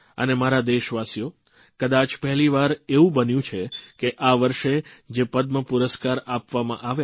અને મારા દેશવાસીઓ કદાચ પહેલીવાર એવું બન્યુ છે કે આ વર્ષે જે પદ્મપુરસ્કાર આપવામાં આવ્યા